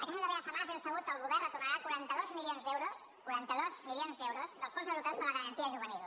aquestes darreres setmanes hem sabut que el govern retornarà quaranta dos milions d’euros quaranta dos milions d’euros dels fons europeus per la garantia juvenil